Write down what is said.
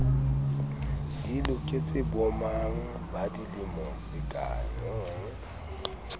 di loketse bomang ba dilemo